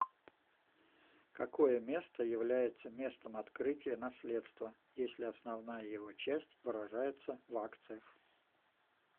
какое место является местом открытия наследства если основная его часть выражается в акциях